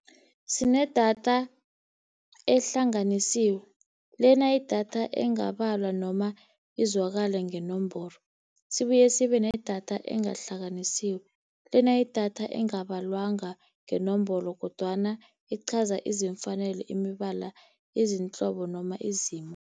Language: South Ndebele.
Sinedatha ehlanganisiwe lena yidatha engabalwa noma izwakale ngeenomboro. Sibuye sibe nedatha engahlanganisiwe lena idatha engabalwanga ngeenombolo kodwana iqhaza izimfanele, imibala izinhlobo noma izimo.